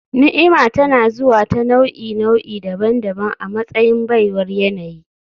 Ni'ima tana zuwa ta nau'i-nau'i daban-daban a matsayin baiwar yanayi